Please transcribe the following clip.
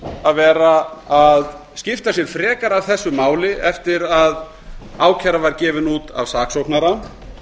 að vera að skipta sér frekar af þessu máli eftir að ákæra var gefin út af saksóknara